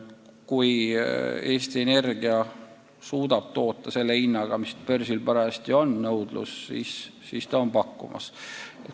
Kui Eesti Energia suudab toota selle hinnaga, mis börsi nõudlusele vastab, siis ta saab müüa.